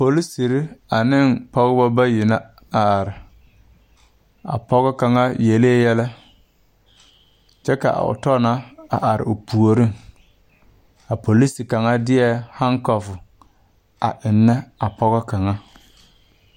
Poliserre aneŋ pɔgebɔ bayi bayi na a are a pɔge kaŋ yelee yɛlɛ kyɛ ka otɔ na a are o puoriŋ a polise kaŋa deɛ hankɔf a eŋnɛ a pɔgɔ kaŋa.